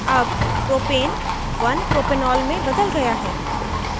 अब propane 1propanol में बदल गया है